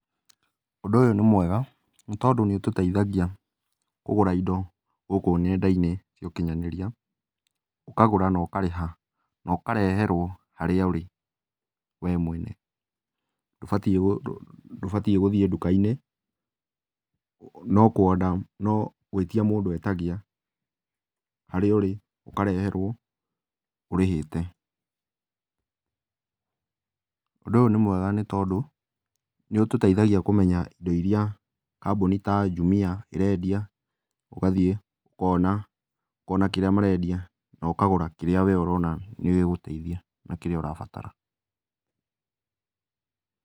Ũndũ ũyũ nĩ mwega, nĩtondũ nĩũtũteithagia kũgũra indo gũkũ ngenda-inĩ cia ũkinyanĩria. Ũkagũra na ũkarĩha na ũkareherwo harĩa ũrĩ wee mwene. Ndũbatiĩ gũ, ndũbatiĩ gũthiĩ ndũka-inĩ no kũ order, no gwĩtia mũndũ etagia, harĩa ũrĩ ũkareherwo, ũrĩhĩte. Ũndũ ũyũ nĩ mwega nĩtondũ, nĩũtũteithagia kũmenya indo iria kambũni ta Jumia ĩrendia, ũgathiĩ, ũkona, ũkona kĩrĩa marendia na ũkagũra kĩrĩa wee ũrona nĩgĩgũgũteithia na kĩrĩa ũrabatara.